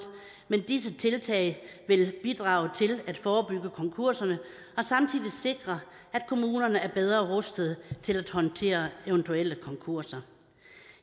men disse tiltag vil bidrage til at forebygge konkurserne og samtidig sikre at kommunerne er bedre rustet til at håndtere eventuelle konkurser